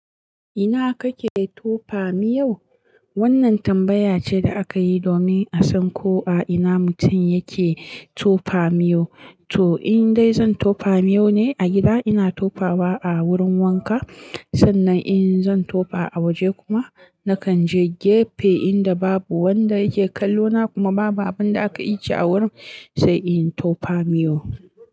Ina kake tofa miyau? Wannan tambaya ce da aka yi domin a san ko a ina mutum yake tofa miyo. To in dai zan tofa miyo ne a gida, ina tofawa a wurin wanka. Sannan in zan tofa a waje kuma, nakan je gefe inda babu wanda yake kallo na kuma babu abin da aka ije a wurin sai in tofa miyo.